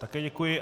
Také děkuji.